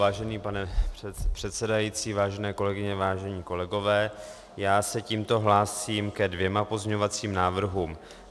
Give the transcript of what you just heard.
Vážený pane předsedající, vážené kolegyně, vážení kolegové, já se tímto hlásím ke dvěma pozměňovacím návrhům.